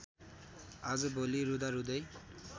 आजभोलि रुँदारुँदै